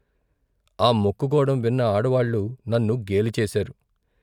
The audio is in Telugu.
ఆ మొక్కుకోడం విన్న ఆడవాళ్ళు నన్ను గేలిచేశారు.